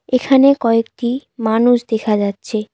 এখানে কয়েকটি মানুষ দেখা যাচ্ছে।